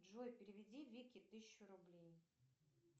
джой переведи вике тысячу рублей